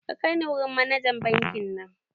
Ka kai ni wurin manajan bankin nan!